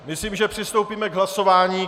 Myslím, že přistoupíme k hlasování.